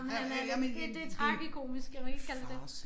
Ej men han er det det tragikomisk kan man ikke kalde det det